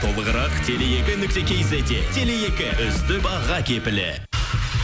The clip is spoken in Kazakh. толығырақ теле екі нүкте кизетте теле екі үздік баға кепілі